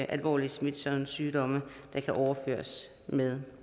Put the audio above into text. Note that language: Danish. alvorlige smitsomme sygdomme der kan overføres med